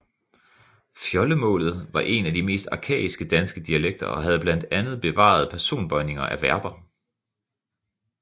Fjoldemålet var en af de mest arkaiske danske dialekter og havde blandt andet bevaret personbøjning af verber